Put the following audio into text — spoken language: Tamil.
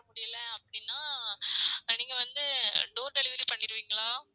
வர முடியல அப்டின்னா நீங்க வந்து door delivery பண்ணீருங்களா? ஆஹ் ஆமா ma'am